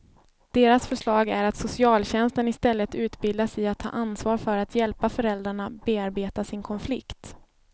Deras förslag är att socialtjänsten istället utbildas i att ta ansvar för att hjälpa föräldrarna bearbeta sin konflikt.